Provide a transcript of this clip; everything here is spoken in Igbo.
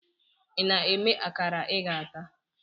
Ị na-eme akara ị ga-ata?